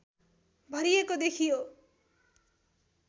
भरिएको देखियो